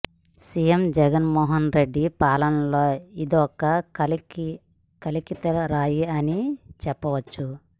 CM Jagan Mohan Reddy పాలన లో ఇదొక కలికితురాయి అని చెప్పవచ్చు